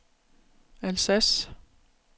Alsace